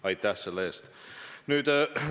Aitäh selle eest!